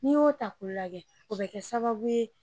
Ni y'o ta k'o lagɛ , o be kɛ sababu ye.